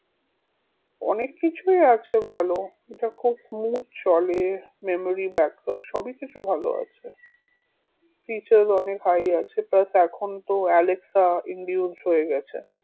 অনেক কিছুই আছে ভালো এটা খুব smooth চলে memeory backup সবই কিছু ভালো আছে features অনেক high আছে plus এখন তো এলেক্সা হয়ে গেছে